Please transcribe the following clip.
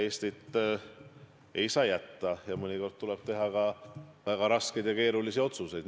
Eestit ei saa jätta ning mõnikord tuleb teha ka väga raskeid ja keerulisi otsuseid.